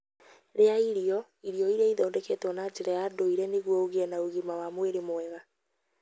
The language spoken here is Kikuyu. Rĩa irio irio iria ithondeketwo na njĩra ya ndũire nĩguo ũgĩe na ũgima wa mwĩrĩ mwega